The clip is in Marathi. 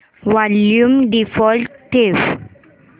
वॉल्यूम डिफॉल्ट ठेव